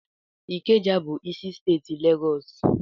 Ikeja bụ isi steeti Legọs.